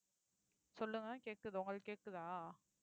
சொல்லுங்க கேட்குது உங்களுக்கு கேட்குதா